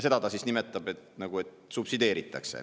Seda ta nimetab selleks, et nagu subsideeritakse.